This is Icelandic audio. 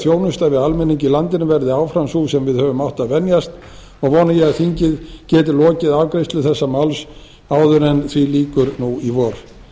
þjónusta í almenning í landinu verði áfram sú sem við höfum átt að venjast og vona ég að þingið geti lokið afgreiðslu þessa máls áður en því lýkur nú í vor